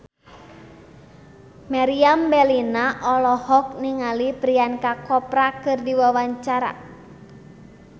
Meriam Bellina olohok ningali Priyanka Chopra keur diwawancara